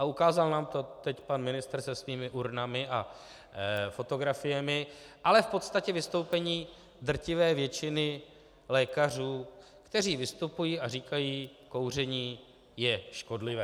A ukázal nám to teď pan ministr se svými urnami a fotografiemi, ale v podstatě vystoupení drtivé většiny lékařů, kteří vystupují a říkají: kouření je škodlivé.